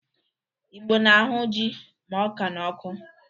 Igbo na-ahụ jị ma ọka n'ọkụ.